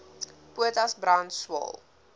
potas brand swael